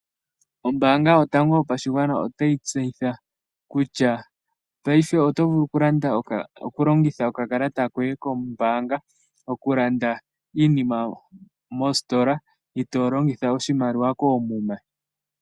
Ombaanga yotango yopashigwana otayi tseyitha kutya paife oto vulu oku longitha okakalata koye koombaanga oku landa iinima moositola, itoo longitha oshimaliwa koomuma.